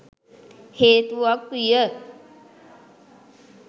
හේතුවක් විය.